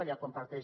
allà comparteix